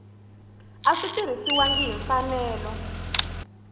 a swi tirhisiwangi hi mfanelo